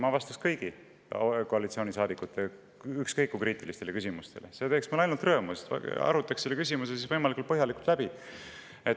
Ma vastan koalitsioonisaadikute ükskõik kui kriitilistele küsimustele, see teeb mulle ainult rõõmu: arutame selle küsimuse võimalikult põhjalikult läbi.